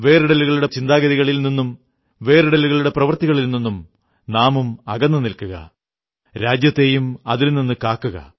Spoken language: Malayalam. വേറിടലുകളുടെ ചിന്താഗതികളിൽ നിന്നും വേറിടലുകളുടെ പ്രവൃത്തികളിൽ നിന്നും നാമും അകന്നു നിൽക്കുക രാജ്യത്തെയും അതിൽ നിന്നു കാക്കുക